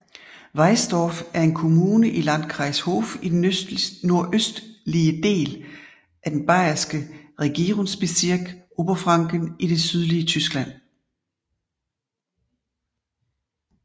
Weißdorf er en kommune i Landkreis Hof i den nordøstlige del af den bayerske regierungsbezirk Oberfranken i det sydlige Tyskland